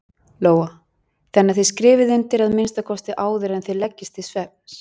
Lóa: Þannig að þið skrifið undir að minnsta kosti áður en þið leggist til svefns?